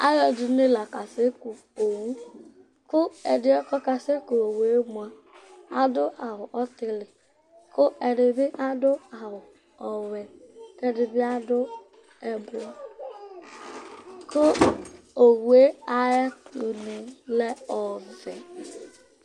Alʋɛdɩnɩ la kasɛku owu kʋ ɛdɩ kʋ ɔkasɛku owu yɛ mʋa, adʋ awʋ ɔtɩlɩ kʋ ɛdɩ bɩ adʋ awʋ ɔwɛ kʋ ɛdɩ bɩ adʋ ɛblɔ kʋ owu yɛ ayɛtʋnɩ lɛ ɔvɛ